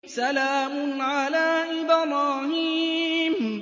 سَلَامٌ عَلَىٰ إِبْرَاهِيمَ